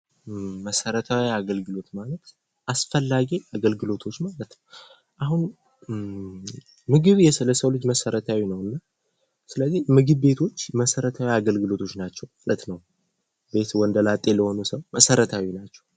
መሰረታዊ የአገልግሎቶች ማለት አስፈላጊ ነገሮች ማለት ነው። አሁን ምግብ ለሰው ልጅ መሰረታዊ ነውና ስለዚህ ምግብ ቤቶች መሰረታዊ አገልግሎቶች ናቸው ማለት ነው። ወንደላጤ ለሆነ ሰው አስፈላጊ ናቸው።